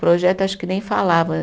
Projeto, acho que nem falava.